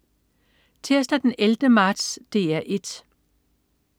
Tirsdag den 11. marts - DR 1: